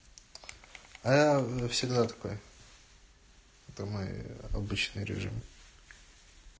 а я всегда такой это мой обычный режим